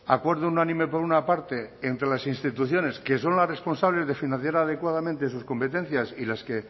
acuerdo unánime por una parte más entre las instituciones que son las responsables de financiar adecuadamente sus competencias y las que